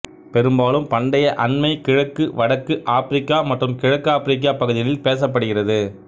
பெரும்பாலும் பண்டைய அண்மை கிழக்கு வடக்கு ஆப்பிரிக்கா மற்றும் கிழக்கு ஆபிரிக்கா பகுதிகளில் பேசப்படுகிறது